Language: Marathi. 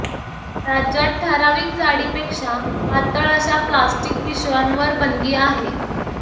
राज्यात ठराविक जाडीपेक्षा पातळ अशा प्लॅस्टीक पिशव्यांवर बंदी आहे